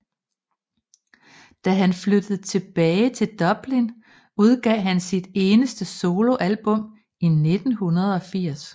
Da han flyttede tilbage til Dublin udgav han sit eneste soloalbum i 1980